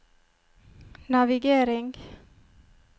navigering